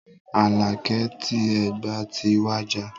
Aláké ti Ẹ̀gbá ti wàjà.